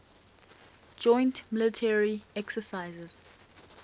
joint military exercises